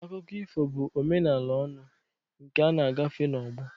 Akụkọ ifo bụ omenala ọnụ, nke a na-agafe n'ọgbọ.